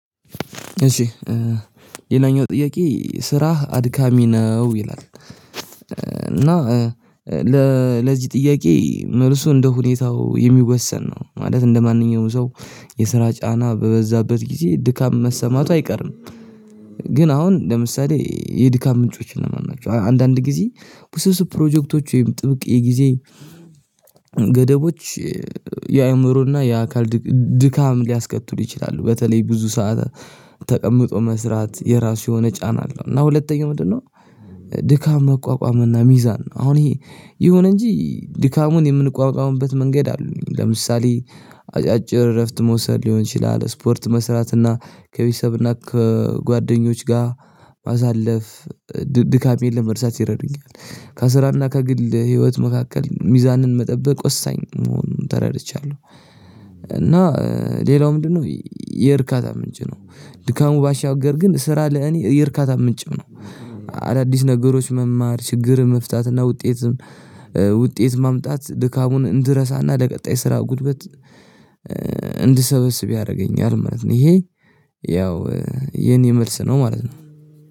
እሺ ሌላኛው ጥያቄ ስራህ አድካሚ ነው ይላል? እና ለለዚህ ጥያቄ መልሱ እንደሁኔታው የሚወሰን ነው ማለት እንደማንኛውም ሰው የስራ ጫና በበዛበት ጊዜ ድካም መሰማቱ አይቀርም። ግን አሁን ለምሳሌ የድካም ምንጮችን እነማናቸው አንዳንድ ጊዜ ወስብስብ ፕሮጀክቶች ወይም ጥብቅ የጊዜ ገደቦች የአእምሮና የአካል ድካም ሊያስከትሉ ይችላሉ በተለይ ብዙ ሰዓት ተቀምጦ መስራት የራሱ የሆነ ጫና አለው። እና ሁለተኛው ምንድነው? ድካም መቋቋም እና ሚዛን ነው። አሁን ይሄ የሆነ እንጂ ድካሙን የምንቋቋምበት መንገድ አሉኝ። ለምሳሌ አጫጭር እረፍት መውሰድ ሊሆን ይችላል ስፖርት መስራትና ከቤተሰብና ከጓደኞች ጋር ማሳለፍ ድካሜን ለመርሳት ይረዱኛል። ከስራና ከግል ህይወት መካከል ሚዛንን መጠበቅ ወሳኝ መሆኑን ተረድቻለሁ። እና ሌላው ምንድነው? የእርካታ ምንጭ ነው? ድካሙ ባሻገር ግን ስራ ለእኔ የእርካታ ምንጭም ነው። አዳዲስ ነገሮች መማር ችግር መፍታትና ውጤትም ውጤት ማምጣት ድካሙን እንድረሳና ለቀጣይ ስራ ጉልበት እንድሰበስብ ያደረገኛል ማለት ነው። ይሄ ያው የኔ መልስ ነው ማለት ነው